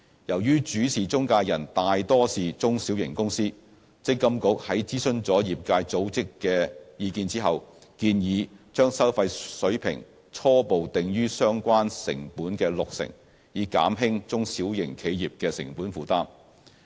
由於主事中介人大多數是中小型公司，積金局在諮詢了業界組織的意見後，建議把收費水平初步定於相關成本的六成，以減輕中小型企業的成本負擔。